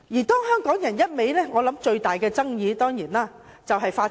當香港人一味......我想，最大的爭議當然是法治。